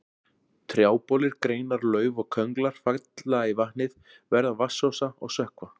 Trjábolir, greinar, lauf og könglar falla í vatnið, verða vatnsósa og sökkva.